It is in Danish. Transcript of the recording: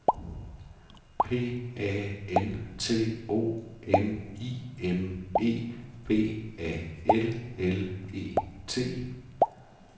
P A N T O M I M E B A L L E T